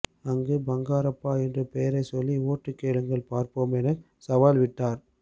அங்கு பங்காரப்பா என்று பெயரை சொல்லி ஓட்டு கேளுங்கள் பார்ப்போம் என சவால் விட்டார்